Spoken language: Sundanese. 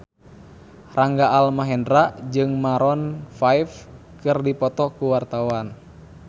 Rangga Almahendra jeung Maroon 5 keur dipoto ku wartawan